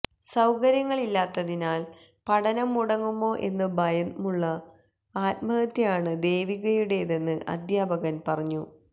സൌകര്യങ്ങളില്ലാത്തിനാൽ പഠനം മുടങ്ങുമോ എന്ന് ഭയന്നുള്ള ആത്മഹത്യയാണ് ദേവികയുടേതെന്ന് അദ്ധ്യാപകൻ പറഞ്ഞു